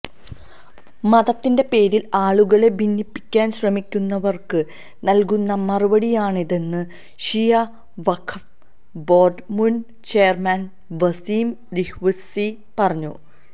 മതത്തിന്റെ പേരില് ആളുകളെ ഭിന്നിപ്പിക്കാന് ശ്രമിക്കുന്നവര്ക്ക് നല്കുന്ന മറുപടിയാണിതെന്ന് ഷിയ വഖഫ് ബോര്ഡ് മുന് ചെയര്മാന് വസീം റിസ്വി പറഞ്ഞു